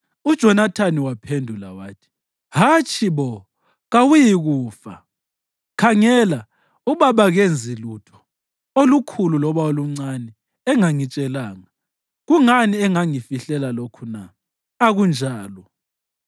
UJonathani waphendula wathi, “Hatshi bo! Kawuyikufa! Khangela, ubaba kenzi lutho, olukhulu loba oluncane, engangitshelanga. Kungani engangifihlela lokhu na? Akunjalo!”